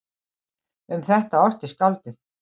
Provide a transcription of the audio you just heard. Um þetta orti skáldið